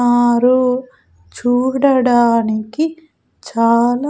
ఆరు చూడడానికి చాలా--